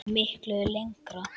Miklu lengra.